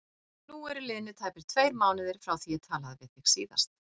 Nú eru liðnir tæpir tveir mánuðir frá því ég talaði við þig síðast.